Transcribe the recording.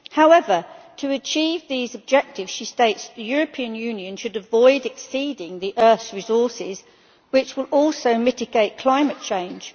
However, to achieve these objectives, she states the European Union should avoid exceeding the earth's resources, which would also mitigate climate change.